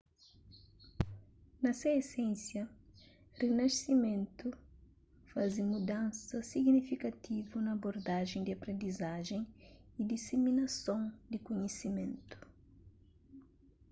na se esensia rinasimentu faze mudansa signifikativu na abordajen di aprendizajen y disiminason di kunhisimentu